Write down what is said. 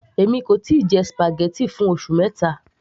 èmi kò tíì jẹ spaghetti fún oṣù mẹta